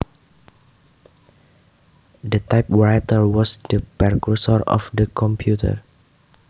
The typewriter was the precursor of the computer